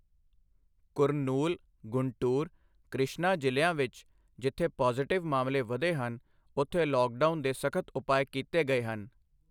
ਕੁਰਨੂਲ, ਗੁੰਟੂਰ, ਕ੍ਰਿਸ਼ਨਾ ਜ਼ਿਲ੍ਹਿਆਂ ਵਿੱਚ ਜਿੱਥੇ ਪਾਜ਼ੇਟਿਵ ਮਾਮਲੇ ਵਧੇ ਹਨ, ਉੱਥੇ ਲੌਕਡਾਊਨ ਦੇ ਸਖ਼ਤ ਉਪਾਅ ਕੀਤੇ ਗਏ ਹਨ।